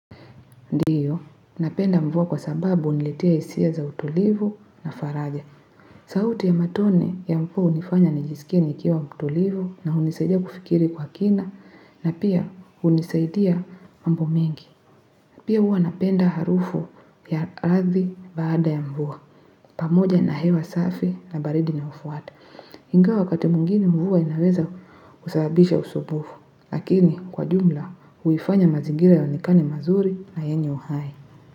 Ndiyo, napenda mvua kwa sababu huniletea hisia za utulivu na faraja. Sauti ya matone ya mvua hunifanya nijisikie nikiwa mtulivu na hunisaidia kufikiri kwa kina na pia hunisaidia mambo mengi. Pia huwa napenda harufu ya ardhi baada ya mvua. Pamoja na hewa safi na baridi na unaofuata. Ingawa wakati mwingine mvua inaweza kusababisha usumbufu, lakini kwa jumla huifanya mazingira yaonekane mazuri na yenye uhai.